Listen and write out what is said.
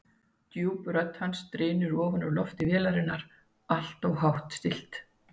Djúp rödd hans drynur ofan úr lofti vélarinnar, alltof hátt stillt.